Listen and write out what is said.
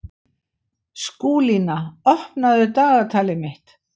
Skúlína, opnaðu dagatalið mitt.